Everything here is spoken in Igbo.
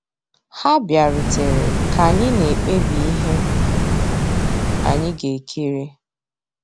Há bìàrùtérè ká ànyị́ ná-èkpébí íhé ànyị́ gà-èkírí.